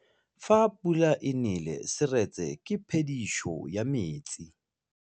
Fa pula e nelê serêtsê ke phêdisô ya metsi.